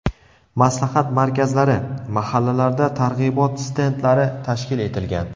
Maslahat markazlari, mahallalarda targ‘ibot stendlari tashkil etilgan.